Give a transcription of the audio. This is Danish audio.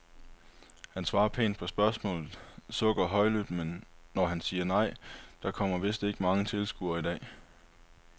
Han svarer pænt på spørgsmålene, sukker højlydt, når han siger nej, der kommer vist ikke mange tilskuere i dag.